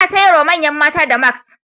Za a sayar wa manyan mata damask.